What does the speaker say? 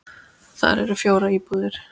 Þar eru fjórar íbúðir.